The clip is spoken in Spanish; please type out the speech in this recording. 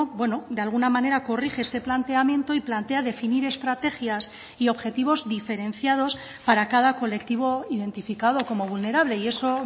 bueno de alguna manera corrige este planteamiento y plantea definir estrategias y objetivos diferenciados para cada colectivo identificado como vulnerable y eso